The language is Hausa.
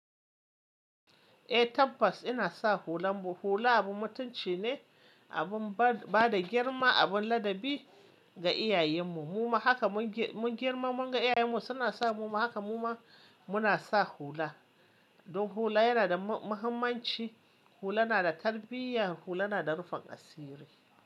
Eh tabbas ina sa hula. Hula abun mutunci ne, abin ba da girma, abin ladabi ga iyayenmu. Muma haka mun girmamun ga iyayenmu suna sa muma haka muma muna sa hula. Don hula yana da muhimmanci. Hula na da tarbiyya, hula na da nufin asiri.